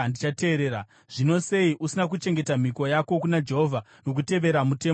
Zvino sei usina kuchengeta mhiko yako kuna Jehovha nokutevera mutemo wandakakupa?”